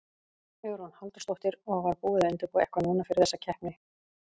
Hugrún Halldórsdóttir: Og var búið að undirbúa eitthvað núna fyrir þessa keppni?